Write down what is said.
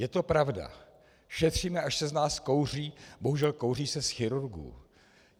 Je to pravda, šetříme, až se z nás kouří - bohužel kouří se z chirurgů.